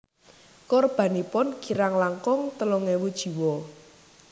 Korbanipun kirang langkung telung ewu jiwa